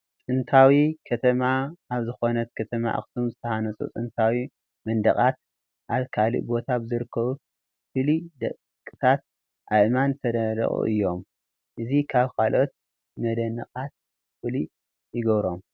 ጥንታዊ ከተማ ኣብ ዝኾነት ከተማ ኣኽሱም ዝተሃነፁ ጥንታዊ መንደቓት ኣብ ካልእ ቦታ ብዘይርከቡ ፍልይ ደቀቕታ ኣእማን ዝተነደቑ እዮም፡፡ እዚ ካብ ካልኦት መንደቓት ፍሉይ ይገብሮም፡፡